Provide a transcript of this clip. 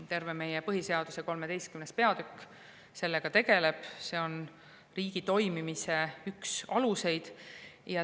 Terve meie põhiseaduse XIII peatükk sellega tegeleb, see on riigi toimimise üks aluseid.